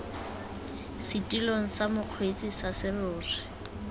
setilong sa mokgweetsi sa serori